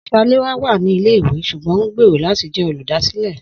Saléwá wà ní ilé ìwé ṣugbọn ohun gbèrò láti jẹ oludasile